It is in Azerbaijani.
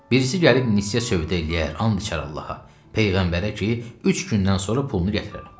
Birisi gəlib nissiyə sövdə eləyər, and içər Allaha, peyğəmbərə ki, üç gündən sonra pulunu gətirərəm.